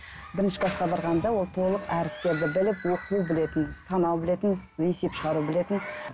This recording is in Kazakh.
бірінші класқа барғанда ол толық әріптерді біліп оқу білетін санау білетін есеп шығару білетін